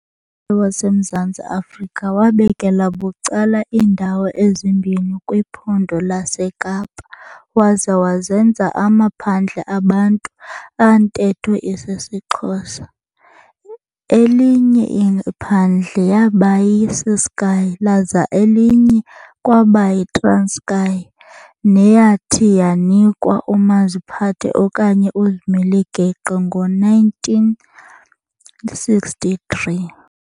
WasemZantsi afrika wabekela bucala iindawo ezimbini kwiPhondo laseKapa waza wazenza amaphandle abantu abantetho isisiXhosa, elinye iphandle yaba yiCiskei, laza elinye kwaba yiTranskei neyathi yanikwa umaziphathe okanye uzimele-geqe ngo-1963.